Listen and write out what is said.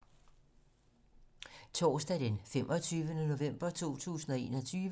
Torsdag d. 25. november 2021